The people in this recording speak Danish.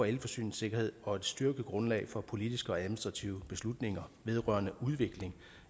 elforsyningssikkerhed og et styrket grundlag for politiske og administrative beslutninger vedrørende udviklingen